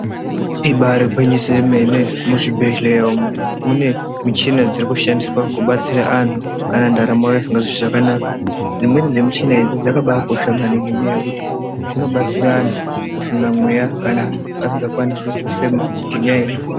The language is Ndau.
Ibare gwinyiso remene, muzvibhedleya umu munemichina dzekushandiswa kubatsira anhu kana ntaramo yavo isingazwi zvakanaka, dzimweni dzemichina idzi dzakabakosha maningi ngekuti dzinobatsira anhu kufema mweya kana asingakwanise kufema ngenyaya yezvipfuva.